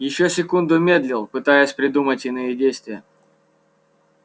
ещё секунду медлил пытаясь придумать иные действия